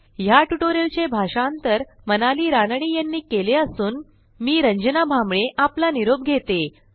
ह्या ट्युटोरियलचे भाषांतर मनाली रानडे यांनी केले असून मी रंजना भांबळे आपला निरोप घेते160